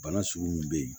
Bana sugu min bɛ yen